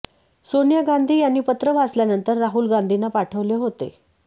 सोनिया गांधी यांनी पत्र वाचल्यानंतर राहुल गांधींना पाठवले होते